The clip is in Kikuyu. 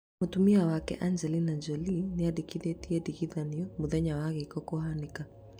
Mũtumia wake Angelina Jolie nĩandikithĩtie ndigano mũthenya wa gĩko kũhanĩka